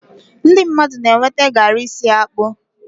ndị mmadụ na-enweta garri si akpu